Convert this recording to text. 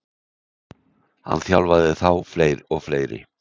Hann þjálfaði þá og fleiri.